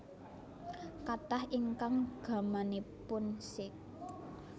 Kathah ingkang gamanipun Sikh